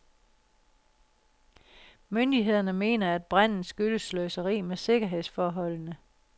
Myndighederne mener, at branden skyldes sløseri med sikkerhedsforholdene.